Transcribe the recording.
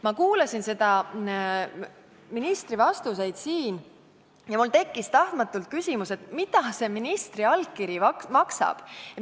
Ma kuulasin ministri vastuseid siin ja mul tekkis tahtmatult küsimus, mis see ministri allkiri maksab.